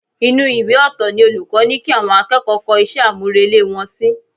Inú ìwé ọ̀tọ̀ ni olùkọ́ ní kí àwọn akẹ́kọ̀ọ́ kọ iṣẹ́ àmúrelé wọn sí